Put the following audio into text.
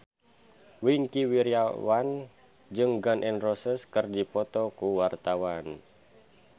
Wingky Wiryawan jeung Gun N Roses keur dipoto ku wartawan